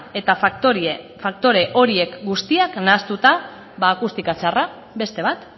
eta faktore horiek guztiak nahastuta akustika txarra beste bat